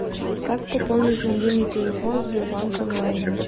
как пополнить мобильный телефон в сбербанк онлайне